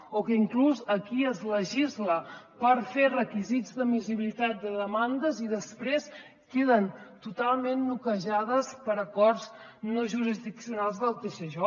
o que inclús aquí es legisla per fer requisits d’admissibilitat de demandes i després queden totalment noquejades per acords no jurisdiccionals del tsj